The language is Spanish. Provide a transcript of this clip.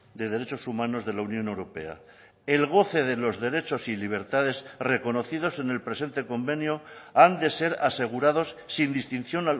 de derechos humanos de la unión europea el goce de los derechos y libertades reconocidos en el presente convenio han de ser asegurados sin distinción